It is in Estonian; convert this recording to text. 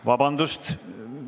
Vabandust!